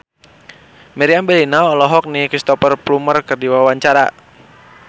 Meriam Bellina olohok ningali Cristhoper Plumer keur diwawancara